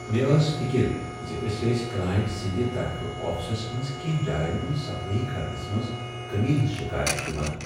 مےٚ ٲس فکر ز أسۍ ٲسۍ کلائنٹ سٕنٛدِ طرفہٕ آفسس منٛز کینٛہہ جاین ہنٛز صفٲیی کرنس منٛز کٔمی ہٕنٛز شکایات یوان۔